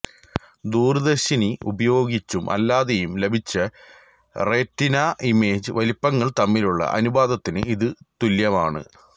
ദൂരദർശിനി ഉപയോഗിച്ചും അല്ലാതെയും ലഭിച്ച റെറ്റിന ഇമേജ് വലിപ്പങ്ങൾ തമ്മിലുള്ള അനുപാതത്തിന് ഇത് തുല്യമാണ്